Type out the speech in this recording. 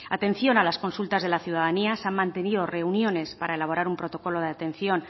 atención a las consultas de ciudadanía se han mantenido reuniones para elaborar un protocolo de atención